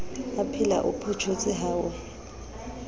aphela o photjhotse ha e